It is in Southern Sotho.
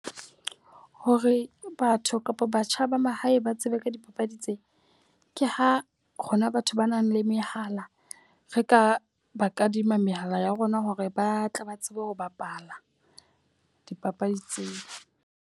Hore batho kapa batjha ba mahae ba tsebe ka dipapadi tsena, ke ha rona batho ba nang le mehala re ka ba kadima mehala ya rona hore ba tle ba tsebe ho bapala dipapadi tseo.